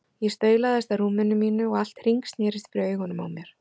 Ég staulaðist að rúm- inu mínu og allt hringsnerist fyrir augunum á mér.